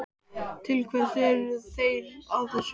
Til hvers eru þeir að þessu?